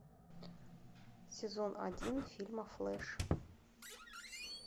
сезон один фильма флеш